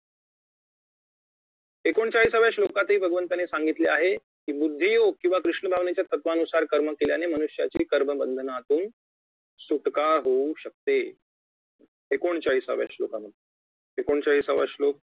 एकोणचाळीसाव्या श्लोकातही भगवंतानी सांगितले आहे कि बुद्धी योग्य किंवा कृष्ण भावनेच्या तत्वानुसार कर्म केल्याने मनुष्याची कर्म बंधनातून सुटका होऊ शकते एकोणचाळीसाव्या श्लोकांमध्ये एकोणचाळीसावा श्लोक